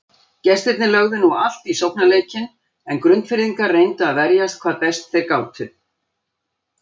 Gestirnir lögðu nú allt í sóknarleikinn en Grundfirðingar reyndu að verjast hvað best þeir gátu.